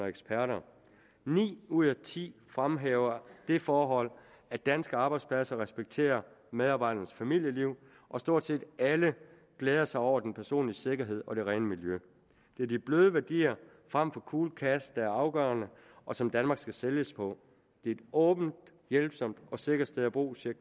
eksperter ni ud af ti fremhæver det forhold at danske arbejdspladser respekterer medarbejderes familieliv og stort set alle glæder sig over den personlige sikkerhed og det rene miljø det er de bløde værdier frem for cool cash er afgørende og som danmark skal sælges på det er et åbent hjælpsomt og sikkert sted at bo siger